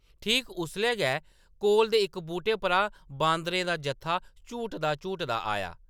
ठीक उसलै गै कोला दे इक बूह्‌‌टे परा बांदरें दा जत्था झूटदा-झूटदा आया ।